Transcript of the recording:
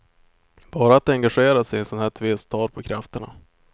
Bara att engagera sig i en sån här tvist tar på krafterna.